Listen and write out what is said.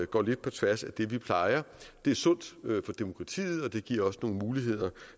går lidt på tværs af det vi plejer det er sundt for demokratiet og det giver nogle muligheder